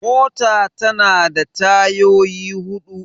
mota tana da tayyoyi hudu